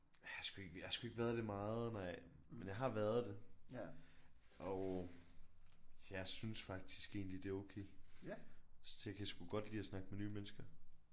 Jeg har sgu ikke jeg har sgu ikke været det meget nå ja. Men jeg har været det og jeg synes faktisk egentlig at det er okay. Jeg kan sgu godt lide at snakke med nye mennesker